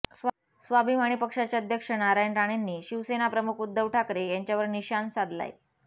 स्वाभिमानी पक्षाचे अध्यक्ष नारायण राणेंनी शिवसेना प्रमुख उद्धव ठाकरे यांच्यावर निशाण साधलाय